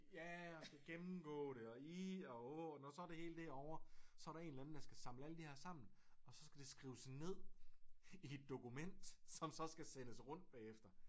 Ja og gennemgå det og ih og åh og når så det hele det er ovre så er der én eller anden der skal samle alle de her sammen og så skal det skrives ned i et dokument som så skal sendes rundt bagefter